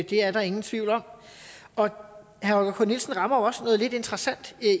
det er der ingen tvivl om herre holger k nielsen rammer jo også noget lidt interessant